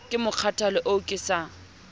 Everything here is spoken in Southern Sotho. ke mokgathala oo ke sa